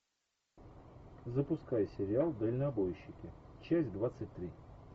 запускай сериал дальнобойщики часть двадцать три